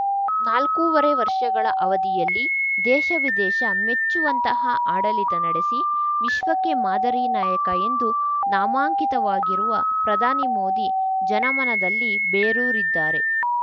ನಾಲ್ಕೂವರೆ ವರ್ಷಗಳ ಅವಧಿಯಲ್ಲಿ ದೇಶ ವಿದೇಶ ಮೆಚ್ಚುಂತಹ ಆಡಳಿತ ನಡೆಸಿ ವಿಶ್ವಕ್ಕೆ ಮಾದರಿ ನಾಯಕ ಎಂದು ನಾಮಾಂಕಿತವಾಗಿರುವ ಪ್ರಧಾನಿ ಮೋದಿ ಜನಮನದಲ್ಲಿ ಬೇರೂರಿದ್ದಾರೆ